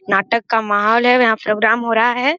नाटक का माहौल है यहां प्रोग्राम हो रहा है।